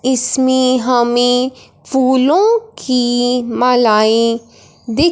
इसमें हमे फूलों की मालाएं दिख--